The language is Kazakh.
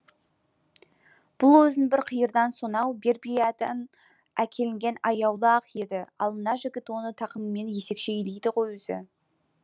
бұл өзі бір қиырдан сонау бербериядан әкелінген аяулы ақ ат еді ал мына жігіт оны тақымымен есекше илейді ғой өзі